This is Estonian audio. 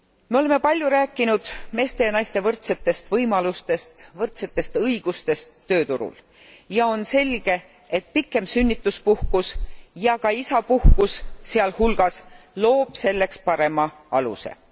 Me oleme palju rääkinud meeste ja naiste võrdsetest võimalustest, võrdsetest õigustest tööturul ja on selge, et pikem sünnituspuhkus ja ka isapuhkus sealhulgas loob selleks parema aluse.